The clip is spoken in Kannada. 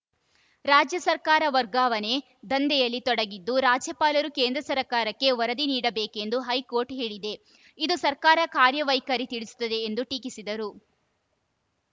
ರಾಜ್ಯ ಸರ್ಕಾರ ವರ್ಗಾವಣೆ ದಂಧೆಯಲ್ಲಿ ತೊಡಗಿದ್ದು ರಾಜ್ಯಪಾಲರು ಕೇಂದ್ರ ಸರ್ಕಾರಕ್ಕೆ ವರದಿ ನೀಡಬೇಕೆಂದು ಹೈಕೋರ್ಟ್‌ ಹೇಳಿದೆ ಇದು ಸರ್ಕಾರ ಕಾರ್ಯವೈಖರಿ ತಿಳಿಸುತ್ತದೆ ಎಂದು ಟೀಕಿಸಿದರು